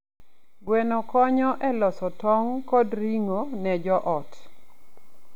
Gweno konyo e loso tong' kod ring'o ne joot.